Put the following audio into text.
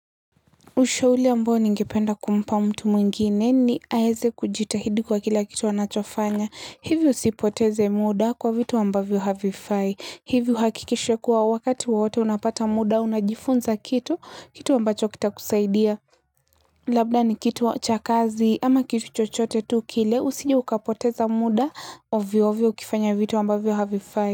Ushauli ambao ningependa kumpa mtu mwingine ni aeze kujitahidi kwa kila kitu anachofanya. Hivyo usipoteze muda kwa vitu ambavyo havifai. Hivi uhakikishe kuwa wakati wowote unapata muda unajifunza kitu, kitu ambacho kitakusaidia. Labda ni kitu wa cha kazi ama kitu chochote tu kile usije ukapoteza muda ovyoovyo ukifanya vitu ambavyo havifai.